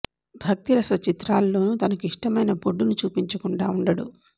భక్తి రస చిత్రాల్లోనూ తనకు ఇష్టమైన బొడ్డు ను చూపించకుండా ఉండడు